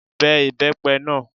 Be ibepe náà!